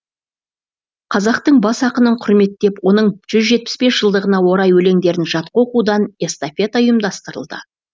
қазақтың бас ақынын құрметтеп оның жүз жетпіс бес жылдығына орай өлеңдерін жатқа оқудан эстафета ұйымдастырылды